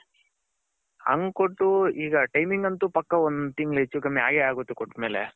ಅಂಗ್ ಕೊಟ್ಟು ಈಗ timing ಅಂತು ಪಕ್ಕ ಒಂದ್ ತಿಂಗಳು ಹೆಚ್ಚು ಕಡಿಮೆ ಆಗೇ ಆಗುತ್ತೆ ಕೊಟ್ಟಮೇಲೆ.